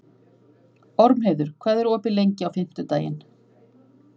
Ormheiður, hvað er opið lengi á fimmtudaginn?